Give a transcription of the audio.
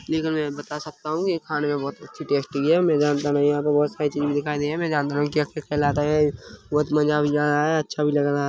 ये तो मै बता सकता हु ये खाने मे बोहोत अच्छी टेस्टी है मै जनता नहीं हु यहां पे बोहोत सारी चीजे दिखाई दे रही है मै जनता नहीं हु के क्या कहलाता है बोहोत मजा भी आया है अच्छा भी लग रहा है।